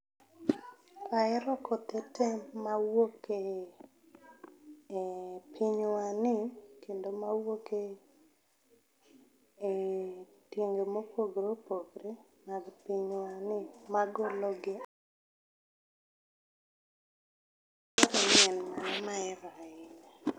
Aero kothe tee mawuok e ,eeh pinywani kendo mawuok e ,eeh, pinje ma opogore opogore mag pinywa ni magologi mahero ahinya